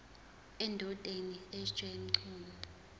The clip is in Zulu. endodeni sj mchunu